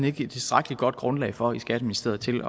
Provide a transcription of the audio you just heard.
ikke et tilstrækkelig godt grundlag for i skatteministeriet til